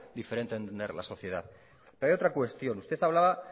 diferente de entender la sociedad pero hay otra cuestión usted hablaba